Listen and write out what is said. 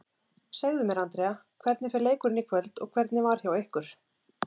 Segðu mér Andrea, hvernig fer leikurinn í kvöld og hvernig var hjá ykkur?